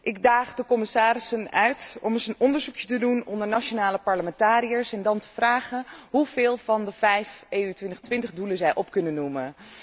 Ik daag de commissarissen uit om eens een onderzoek te doen onder nationale parlementariërs en dan te vragen hoeveel van de vijf 2020 doelen zij op kunnen noemen.